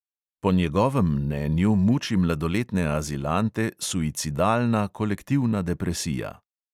Po njegovem mnenju muči mladoletne azilante suicidalna kolektivna depresija.